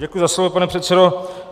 Děkuji za slovo, pane předsedo.